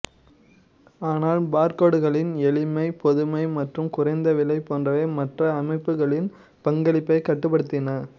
ஆனால் பார்கோடுகளின் எளிமை பொதுமை மற்றும் குறைந்த விலை போன்றவை மற்ற அமைப்புகளின் பங்களிப்பைக் கட்டுப்படுத்தின